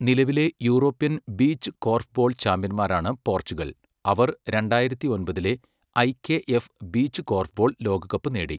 നിലവിലെ European beach korfball ചാമ്പ്യൻമാരാണ് Portugal, അവർ രണ്ടായിരത്തി ഒമ്പതിലെ ഐകെഎഫ് ബീച്ച് കോർഫ്ബോൾ ലോകകപ്പ് നേടി.